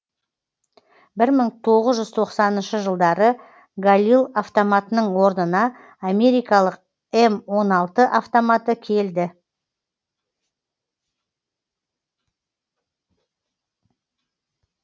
бір мың тоғыз жүз тоқсаныншы жылдары галил автоматының орнына америкалық м он алты автоматы келді